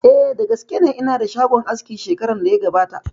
Eh, da gaske ne, ina da shagon aski shekaran da ya gabata